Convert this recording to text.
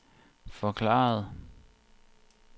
forklarede